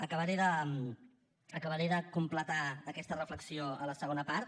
acabaré de completar aquesta reflexió a la segona part